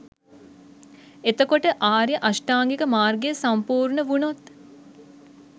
එතකොට ආර්ය අෂ්ටාංගික මාර්ගය සම්පූර්ණ වුණොත්